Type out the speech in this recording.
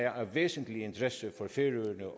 os